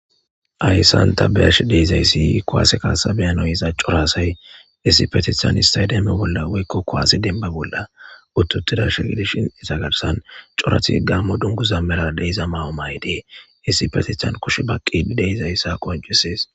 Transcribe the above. Hayssan ta beyash deizayssi kuwase kaasa beyanoyiza coraasay issi petithan istaydemme bolla woykko koaasi denba bolla uttutida shigilishinisa garsan corati gammo dungu zammera deiza mawo may dee issi petitan kushe baqqii deizayssa qonjusees.